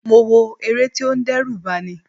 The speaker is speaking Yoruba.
Mo wọ̀ eré tí ó ń dẹ́rù bani.